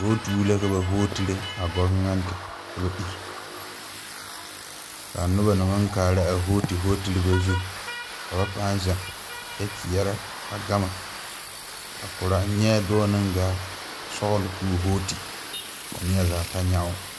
Hooti la ka ba hootire a gɔvenɛnti ka ba iri ka a noba na naŋ maŋ kaara a hootereba zu ka ba paaŋ zeŋ kyɛ kyeɛrɛ a gama a korɔ n nyɛɛ dɔɔ naŋ gaa sɔgle ka o hooti ka neɛzaa ta nyɛ o.